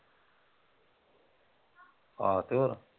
ਆਹ ਤੇ ਹੋਰ